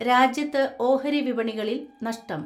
രാജ്യത്ത് ഓഹരി വിപണികളിൽ നഷ്ടം.